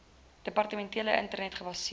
departementele internet gebaseerde